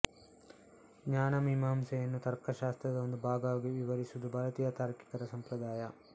ಜ್ಞಾನಮೀಮಾಂಸೆಯನ್ನು ತರ್ಕಶಾಸ್ತ್ರದ ಒಂದು ಭಾಗವಾಗಿ ವಿವರಿಸುವುದು ಭಾರತೀಯ ತಾರ್ಕಿಕರ ಸಂಪ್ರದಾಯ